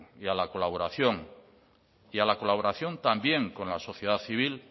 y a la colaboración y a la colaboración también con la sociedad civil